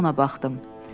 mənə baxdım.